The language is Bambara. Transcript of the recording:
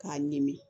K'a ɲimi